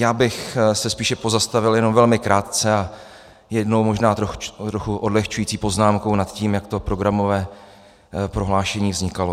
Já bych se spíše pozastavil jenom velmi krátce a jednou možná trochu odlehčující poznámkou nad tím, jak to programové prohlášení vznikalo.